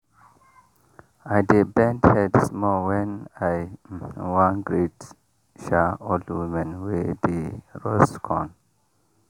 i dey bend head small when i um wan greet um old women wey dey roast corn.